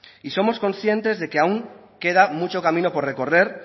y somos conscientes de que aún queda mucho camino por recorrer